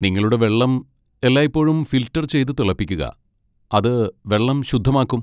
നിങ്ങളുടെ വെള്ളം എല്ലായ്പ്പോഴും ഫിൽട്ടർ ചെയ്ത് തിളപ്പിക്കുക, അത് വെള്ളം ശുദ്ധമാക്കും.